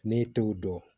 Ne t'o dɔn